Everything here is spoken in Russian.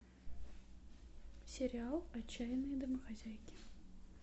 сериал отчаянные домохозяйки